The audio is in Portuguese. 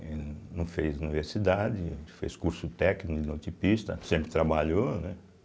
Ele não fez universidade, fez curso técnico de linotipista, sempre trabalhou, né?